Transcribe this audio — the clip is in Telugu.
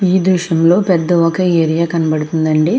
ఈ దృశ్యం లో పేద వక ఏరియా కనపడుతునది అండి.